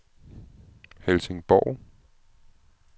Helsingborg